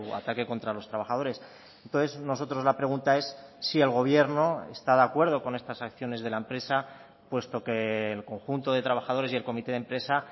ataque contra los trabajadores entonces nosotros la pregunta es si el gobierno está de acuerdo con estas acciones de la empresa puesto que el conjunto de trabajadores y el comité de empresa